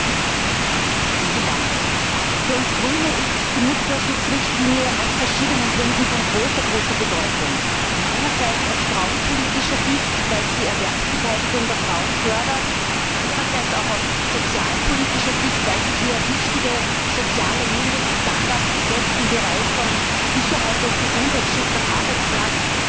Frau Präsidentin! Für uns Grüne ist die Mutterschutzrichtlinie aus verschiedenen Gründen von großer Bedeutung, einerseits aus frauenpolitischer Sicht, weil sie die Erwerbsbeteiligung der Frauen fördert, andererseits auch aus sozialpolitischer Sicht, weil sie hier wichtige soziale Mindeststandards setzt im Bereich von Sicherheit und Gesundheitsschutz am Arbeitsplatz,